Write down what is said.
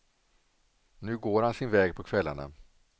Nu går han sin väg på kvällarna.